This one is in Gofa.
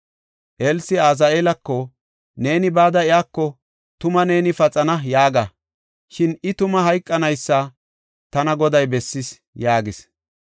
Elsi Azaheelako, “Neeni bada iyako, ‘Tuma neeni paxana’ yaaga. Shin I tuma hayqanaysa tana Goday bessis” yaagis.